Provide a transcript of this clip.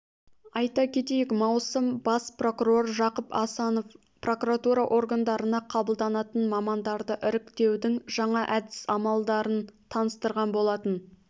айта кетейік маусым бас прокурор жақып асанов прокуратура органдарына қабылданатын мамандарды іріктеудің жаңа әдіс-амалдарын таныстырған болатын